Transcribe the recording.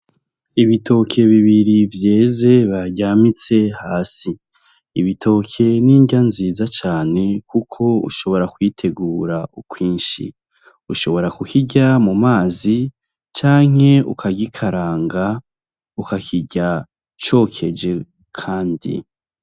Ibitoke bibiri vyeze baryamitse hasi, ibitoke ni inrya nziza cane kuko ushobora kubitegura kwinshi, ushobora kukirya mu mazi canke ukagikaranga ukakirya cokeje kandi.